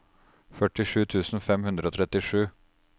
førtisju tusen fem hundre og trettisju